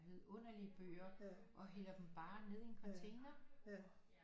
Vidunderlige bøger og hælder dem bare ned i en container